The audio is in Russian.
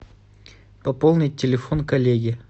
пополнить телефон коллеги